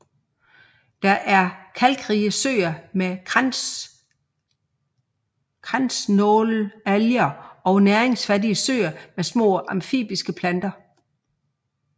Der er kalkrige søer med kransnålalger og næringsfattige søer med små amfibiske planter